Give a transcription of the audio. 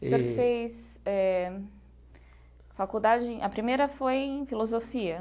Já fez eh faculdade, a primeira foi em filosofia?